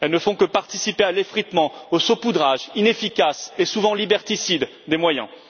Elles ne font que participer à l'effritement, au saupoudrage inefficace et souvent liberticide des moyens.